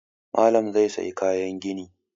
Malam zai sayi kayan gini